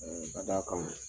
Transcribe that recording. bada